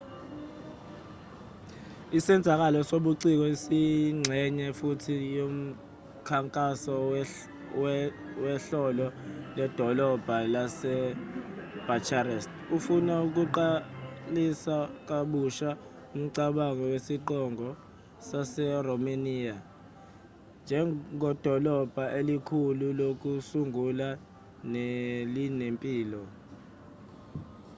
isenzakalo sobuciko siyingxenye futhi yomkhankaso wehhlolo ledolobha lasebucharest ofuna ukuqalisa kabusha umcabango wesiqongo saseromaniya njengedolobha elikhulu lokusungula nelinempilo